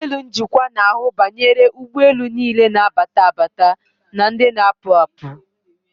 Ụlọelu njikwa na-ahụ banyere ụgbọelu niile na-abata abata na ndị na-apụ apụ.